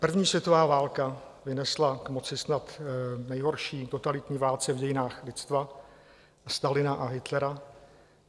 První světová válka vynesla k moci snad nejhorší totalitní vládce v dějinách lidstva, Stalina a Hitlera.